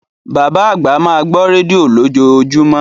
Bàbá àgbà máa gbọ́ rédíò lójoojúmọ́.